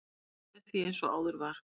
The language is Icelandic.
Allt er því eins og áður var.